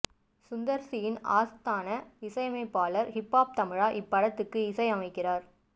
சுந்தர் சியின் ஆஸ்தான இசையமைப்பாளர் ஹிப் ஹாப் தமிழா இப்படத்துக்கு இசையமைக்கிறார்